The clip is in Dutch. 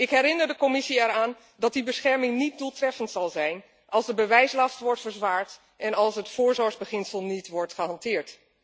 Ik herinner de Commissie eraan dat die bescherming niet doeltreffend zal zijn als de bewijslast wordt verzwaard en het voorzorgsbeginsel niet wordt gehanteerd.